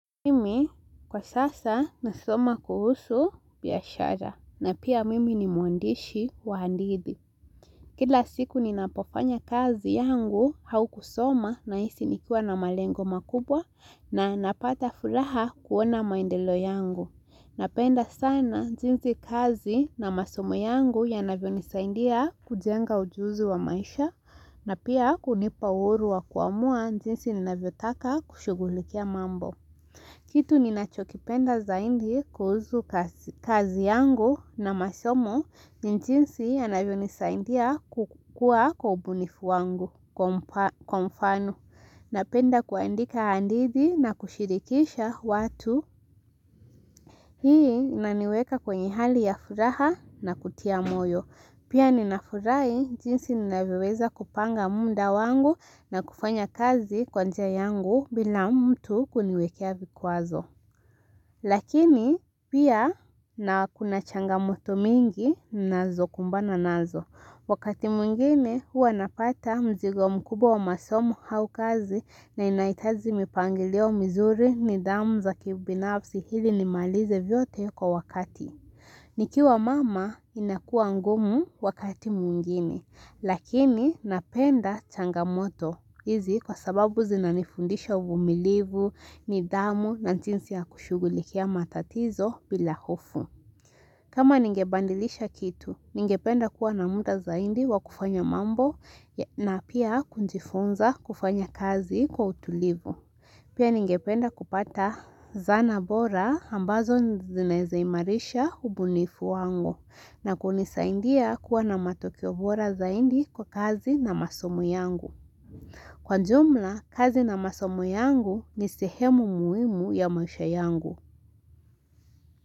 Mimi kwa sasa nasoma kuhusu biashara na pia mimi ni mwandishi wa hadithi. Kila siku ninapofanya kazi yangu au kusoma na hisi nikiwa na malengo makubwa na napata furaha kuona maendeleo yangu. Napenda sana jinsi kazi na masomo yangu yanavyonisaindia kujenga ujuzi wa maisha na pia kunipa uhuru wa kuamua jinsi ninavyotaka kushugulikia mambo. Kitu ninachokipenda zaindi kuuzu kazi yangu na masomo ni jinsi yanavyonisaindia kukua kwa ubunifu wangu kwa mfano. Napenda kuandika handidhi na kushirikisha watu hii inaniweka kwenye hali ya furaha na kutia moyo. Pia ninafurahi jinsi ninavyoweza kupanga munda wangu na kufanya kazi kwa njia yangu bila mtu kuniwekea vikuazo. Lakini pia na kuna changamoto mingi nazo kumbana nazo. Wakati mwingine huwa napata mzigo mkubwa masomo au kazi na inahitaji mipangilio mizuri nidhamu za kibinafsi hili nimalize vyote kwa wakati. Nikiwa mama inakua ngumu wakati mwingine lakini napenda changamoto hizi kwa sababu zinanifundisha uvumilivu, nidhamu na jinsi ya kushugulikia matatizo bila hofu. Kama ningebandilisha kitu, ningependa kuwa na muda zaidi wa kufanya mambo na pia kunjifunza kufanya kazi kwa utulivu. Pia ningependa kupata zana bora ambazo zinaeza imarisha ubunifu wangu na kunisaindia kuwa na matokeo bora zaindi kwa kazi na masomo yangu. Kwa jumla, kazi na masomo yangu ni sehemu muhimu ya maisha yangu.